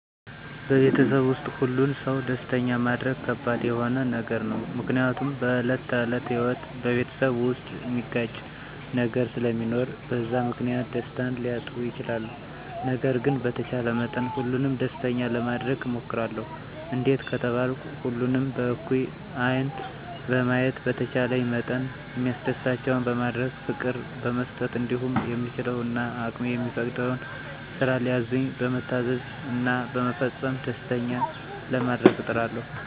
በቤተሰብ ዉስጥ ሁሉን ሰው ደስተኛ ማረግ ከባድ የሆነ ነገር ነው፤ ምክንያቱም በዕለት ተዕለት ህይወት በቤተሰብ ዉስጥ ሚያጋጭ ነገር ስለሚኖር በዛ ምክንያት ደስታን ሊያጡ ይችላሉ። ነገር ግን በተቻለ መጠን ሁሉንም ደስተኛ ለማረግ እሞክራለሁ፤ እንዴት ከተባልኩ ሁሉንም በእኩል ዐይን በማየት፣ በተቻለኝ መጠን ሚያስደስታቸውን በማድረግ፣ ፍቅር በመስጠት እንዲሁም የምችለው እና አቅሜ የሚፈቅደውን ስራ ሲያዙኝ በመታዘዝ እና በመፈጸም ደስተኛ ለማረግ እጥራለሁ።